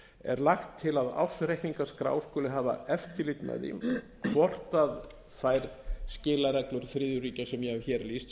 er lagt til að ársreikningaskrá skuli hafa eftirlit með því hvort þær skilareglur sem ég hef hér lýst séu